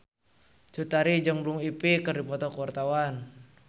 Cut Tari jeung Blue Ivy keur dipoto ku wartawan